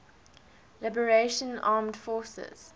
liberation armed forces